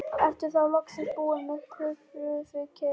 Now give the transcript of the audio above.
Ertu þá loksins búinn að prufukeyra hana?